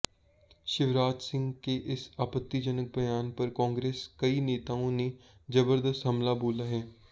शिवराज सिंह के इस आपत्तिजनक बयान पर कांग्रेस कई नेताओं ने जबरदस्त हमला बोला है